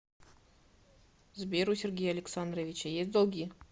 сбер у сергея александровича есть долги